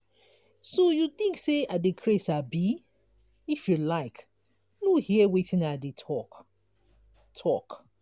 so you think say i dey craze abi? if you like no hear wetin i dey talk talk.